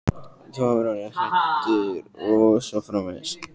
Þú hafir orðið hræddur og svo framvegis.